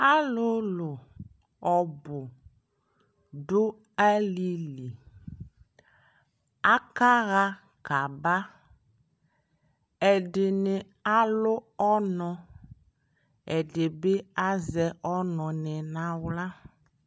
Alʋlʋ ɔbʋ dʋ alili Akaɣa kaaba Ɛdini alʋ ɔnʋ, ɛdi bi azɛ ɔnʋ ni n'aɣla